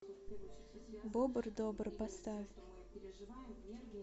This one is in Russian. бобр добр поставь